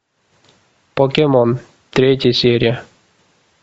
покемон третья серия